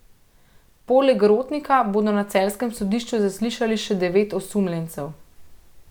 Poleg Rotnika bodo na celjskem sodišču zaslišali še devet osumljencev.